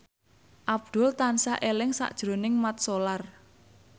Abdul tansah eling sakjroning Mat Solar